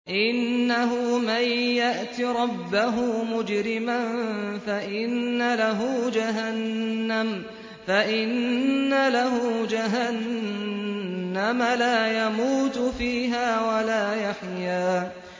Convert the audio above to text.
إِنَّهُ مَن يَأْتِ رَبَّهُ مُجْرِمًا فَإِنَّ لَهُ جَهَنَّمَ لَا يَمُوتُ فِيهَا وَلَا يَحْيَىٰ